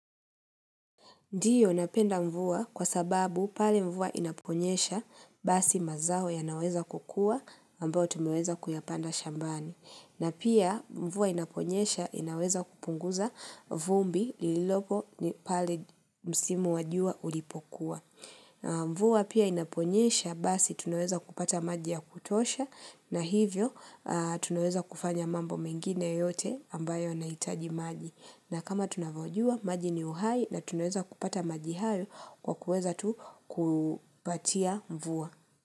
Ndio napenda mvua kwa sababu pale mvua inaponyesha basi mazao yanaweza kukua ambayo tumeweza kuyapanda shambani. Na pia mvua inaponyesha inaweza kupunguza vumbi lililopo pale msimu wa jua ulipokuwa. Mvua pia inaponyesha basi tunaweza kupata maji ya kutosha na hivyo tunaweza kufanya mambo mengine yote ambayo yanahitaji maji. Na kama tunavyojua, maji ni uhai na tunaweza kupata maji hayo kwa kuweza tu kupatia mvua.